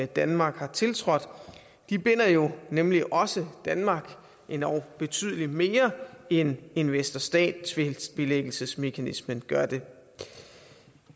danmark har tiltrådt de binder jo nemlig også danmark og endog betydelig mere end investor stat tvistbilæggelsesmekanismen gør det